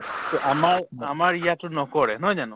তʼ আমাৰ ইয়াতো নকৰে, নহয় জানো?